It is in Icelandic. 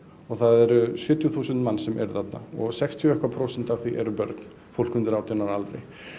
og það eru sjötíu þúsund manns sem eru þarna og sextíu og eitthvað prósent af því eru börn fólk undir átján ára aldri